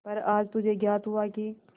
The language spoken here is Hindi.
पर आज मुझे ज्ञात हुआ कि